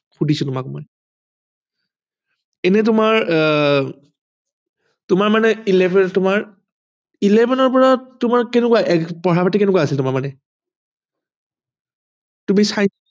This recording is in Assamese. শুধিছো তোমাক মই এনেই তোমাৰ আহ তোমাৰ মানে আহ eleven ৰ পৰা তোমাৰ eleven ৰ পৰা তোমাৰ কেনেকুৱা আছিল পঢ়া পাতি কেনেকুৱা আছিল তোমাৰ মানে